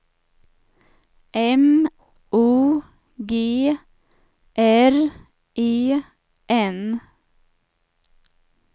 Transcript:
M O G R E N